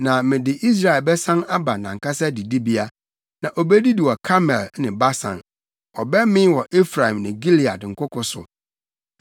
Na mede Israel bɛsan aba nʼankasa didibea, na obedidi wɔ Karmel ne Basan; ɔbɛmee wɔ Efraim ne Gilead nkoko so.